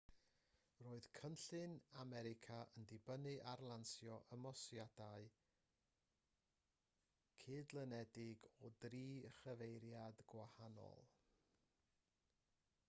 roedd cynllun america yn dibynnu ar lansio ymosodiadau cydlynedig o dri chyfeiriad gwahanol